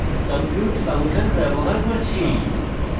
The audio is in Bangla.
compute ফাংশন ব্যবহার করছি